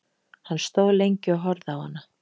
Hann stóð lengi og horfði á hana.